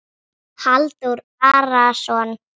Halldór Arason.